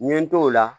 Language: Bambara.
N ye n t'o la